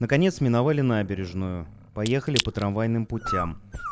наконец миновали набережную поехали по трамвайным путям